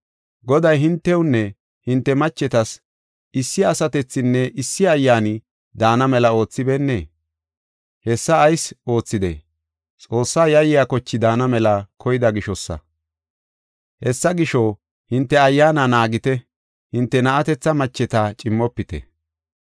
Goday hintewunne hinte machetas issi asatethinne issi ayyaani daana mela oothibeennee? Hessa ayis oothidee? Xoossa yayiya koche daana mela koyda gishosa. Hessa gisho, hinte ayyaana naagite; hinte na7atetha macheta cimmofite.